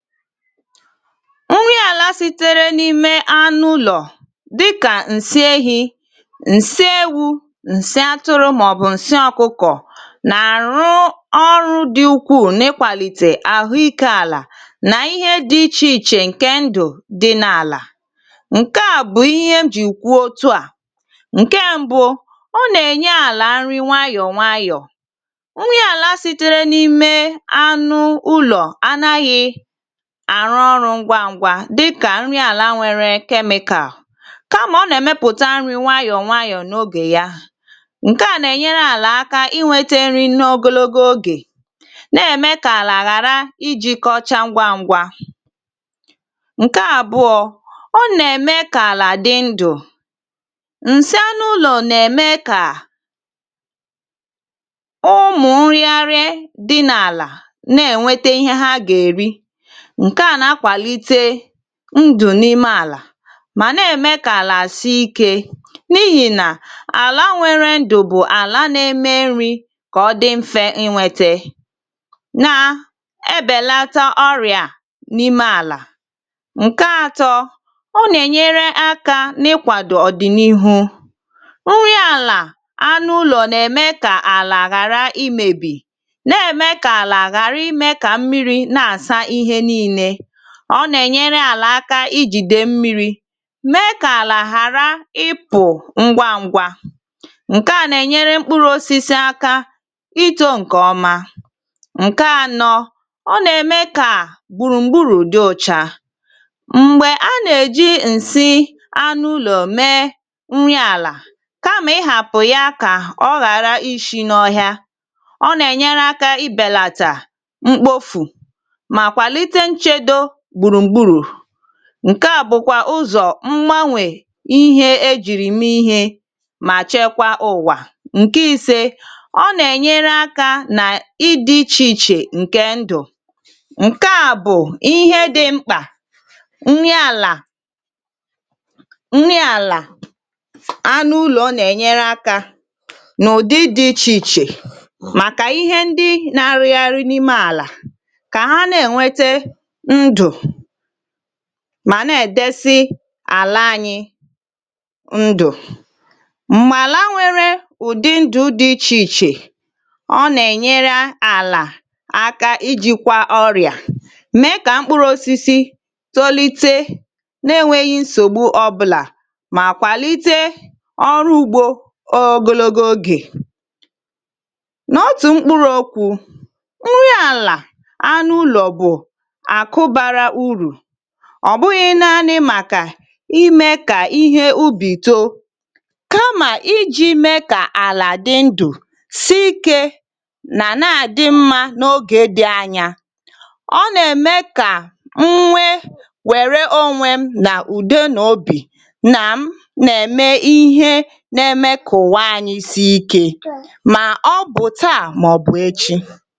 Nri àlà sịtẹ̀rẹ̀ n'ime anụ ụlọ dịkà nsị ehị, nsị ewụ, nsị atụrụ mà ọ̀ bụ̀ nsị ọkụkọ̀ nà-àrụ ọrụ dị̀ ukpụ̀ù n'ịkwàlịtẹ̀ àhụ ikè àlà nà ihè dị̀ ịchè ịchè ǹke ndụ̀ dị n' àlà. Nkè à bụ̀ ihè m jì ùkwụ̀ òtù à, ǹke mbụ̀ ọ nà-ènyè àlà nrị nwayọ̀ nwayọ̀, nrị àlà sịtẹ̀rẹ̀ n'ime anụ ụlọ̀ ànaghị̀ àrụ ọrụ ngwa ngwa dịkà nrị àlà nwere chemical kà mà ọ nà-èmepụ̀tà nrị nwayọ̀ nwayọ̀ n'ògè yá, ǹke à nà-ènyèrè àlà àkà ịnwètè nrị n'ògòlò ògè nà-èmè kà àlà ghàrà ịjị̀ kọ̀chà ngwa ngwa. Nkè àbụ̀ọ, ọ nà-èmè kà àlà dị̀ ndụ̀, nsị anụ̀ ụlọ̀ nà-èmè kà ụmụ̀ nrịàrịà dị nà- àlà nà-ènwètè ihè hà gà-èrị, nkè à nà-àkwàlịtẹ̀ ndụ̀ n'ime àlà mà nà-èmè kà àlà àsị̀ ikè n'ịhì nà àlà nwèrè ndụ̀ bụ̀ àlà nà-èmè nrị kà ọ dị̀ mfè ịnwètè nà-èbèlàtà ọrị̀à n'ime àlà. Nkè àtọ, ọ nà-ènyèrè àkà n'ịkwàdò ọ̀dị̀nịhụ, nrị àlà anụ ụlọ̀ nà-èmè kà àlà àhàrà ịmèbị, nà-èmè kà àlà àhàrà ịmè kà mmịrị n'àsà ihè nị̀lì. Ọ nà-ènyèrè àlà àkà ịjị̀dè mmị̀rị̀ mèè kà àlà ghàrà ịpụ̀ ngwàngwà, ǹke à nà-ènyèrè mkpụ̀rụ̀ òsịsị àkà ịtọ̀ ǹke ọma. Nkè ànọ̀, ọ nà-èmè kà gbùrùmgbùrụ dị̀ ụ̀chà m̀gbè ànà-èjị̀ nsị anụlọ̀ mèè nrị àlà kà mà ị hàpụ̀ yá kà ọ ghàrà ịshị̀ n'ọhịa, ọ nà-ènyèrè àkà ịbèlàtà mkpòfù mà kwàlịtẹ̀ nchèdò gbùrùmgbùrụ, ǹke à bụ̀kwà ùzọ̀ mgbanwè ihè ejị̀rị m ihè mà chèkwà ụ̀wà. Nkè ịsẹ̀, ọ nà-ènyèrè àkà nà ịdị̀ ịchè ịchè ǹke ndụ̀, ǹke à bụ̀ ihè dị̀ mkpà, nrị àlà, nrị àlà anụ ụlọ̀ nà-ènyèrè àkà n'ụ̀dị̀ dị̀ ịchè ịchè màkà ihè ndị nà-àrụ̀ghàrị̀ n'ime àlà kà hà nà-èwètè ndụ̀ mà nà-èdesị̀ àlà ànyị ndụ̀, m̀mà àlà nwere ụ̀dị̀ ndù dị̀ ịchèịchè, ọ nà-ènyèrè àlà àkà ịjị̀kwà ọrị̀à mèè kà mkpụ̀rụ̀ òsịsị tòlịtẹ̀ nà-ènweghị̀ nsògbù ọbụ̀là mà kwàlịtẹ̀ ọrụ ùgbọ̀ ògòlò ògè. N'òtù mkpụ̀rụ̀ òkwụ̀ nrị àlà anụ ụlọ̀ bụ̀ àkụ̀ bàrà ụ̀rụ̀, ọ̀ bụghị̀ nàà̀nị̀ màkà ịmè kà ihè ùbị̀ tòò kà mà ịjị̀ mè kà àlà dị̀ ndụ̀, sị̀kẹ̀ nà ànà- àdị̀ mmà n'ògè dị̀ ànyà. Ọ nà-èmè kà nwèè wèrè ònwè m nà ùdè n'obì nà m nà-èmè ihè nà-èmè kà ụ̀wa ànyị̀ sị̀kẹ̀ mà ọ bụ̀ tàà màọ̀bụ̀ èchì.